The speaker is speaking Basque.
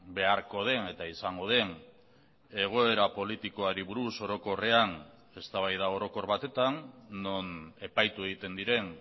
beharko den eta izango den egoera politikoari buruz orokorrean eztabaida orokor batetan non epaitu egiten diren